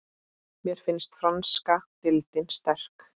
Mér finnst franska deildin sterk.